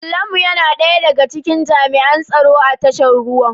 Kallamu yana daya daga cikin jami'an tsaro a tashar ruwan.